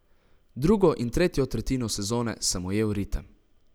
Drugo in tretjo tretjino sezone sem ujel ritem.